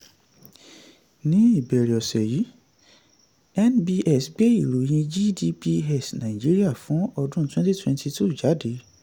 ní ìbẹ̀rẹ̀ ọ̀sẹ̀ yìí nbs gbé ìròyìn gdp nàìjíríà fún ọdún 2022 jáde.